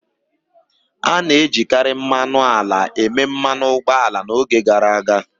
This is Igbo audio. A na-ejikarị mmanụ ala eme mmanụ ụgbọ ala n'oge gara aga.